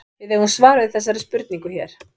Við eigum svar við þessari spurningu hér.